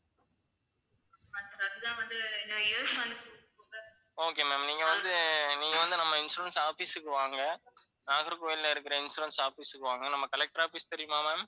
okay ma'am நீங்க வந்து, நீங்க வந்து நம்ம insurance office க்கு வாங்க. நாகர்கோயில்ல இருக்கிற insurance office க்கு வாங்க. நம்ம collector office தெரியுமா ma'am